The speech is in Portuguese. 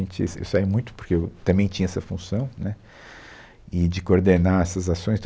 A gente, se, eu saía muito porque eu também tinha essa função, né, e de coordenar essas ações, tudo